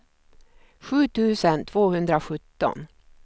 sju tusen tvåhundrasjutton